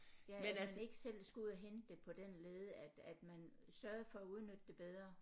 Ja hvor man ikke selv skulle ud og hente det på den led at at man sørgede for at udnytte det bedre